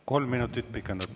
Kolm minutit pikendatud.